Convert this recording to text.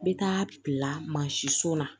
N bɛ taa bila mansin so la